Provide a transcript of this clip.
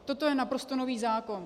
Toto je naprosto nový zákon.